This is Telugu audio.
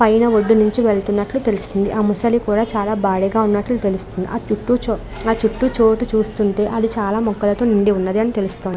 పైన ఒడ్డు నుంచి వెళ్తున్నట్టు తెలుస్తుంది. ఆ ముసలి కూడా చాలా భారీగా ఉన్నట్టు తెలుస్తుంది. ఒక చుట్టూ ఆ చుట్టూ చెవుడు చూస్తుంటే అది చాలా మొక్కలతో ఉండి ఉన్నాడని తెలుస్తుంది.